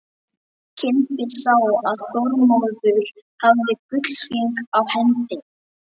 Kimbi sá að Þormóður hafði gullhring á hendi.